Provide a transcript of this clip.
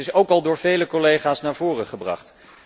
Dat is ook al door vele collega's naar voren gebracht.